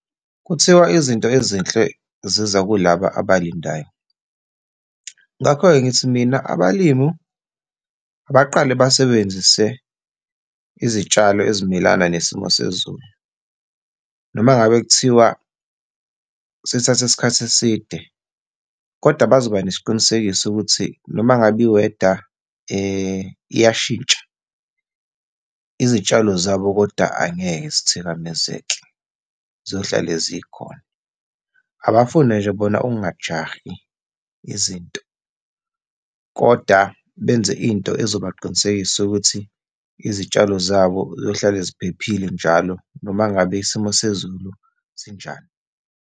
Kuthiwa izinto ezinhle ziza kulaba abalindayo. Ngakho-ke ngithi mina abalimi abaqale basebenzise izitshalo ezimelana nesimo sezulu, noma ngabe kuthiwa sithatha isikhathi eside kodwa bazoba nesiqinisekiso sokuthi noma ngabe i-weather iyashintsha izitshalo zabo kodwa angeke zithikamezeke. Ziyohlale zikhona. Abafune nje bona ukungajahi izinto, koda benze into ezobaqinisekisa ukuthi izitshalo zabo zizohlale ziphephile njalo, noma ngabe isimo sezulu sinjani.